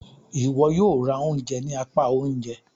Iwọ yóò rá oúnjẹ ni apá oúnjẹ!